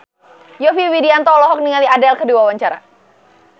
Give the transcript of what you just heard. Yovie Widianto olohok ningali Adele keur diwawancara